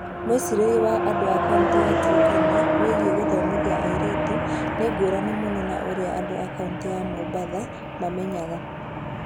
Mwĩcirĩrie wa andũ a kaunti ya Turkana wĩgiĩ gũthomithia airĩtu nĩ ngũrani mũno na ũrĩa andũ a kaunti ya Mombasa mamenyaga.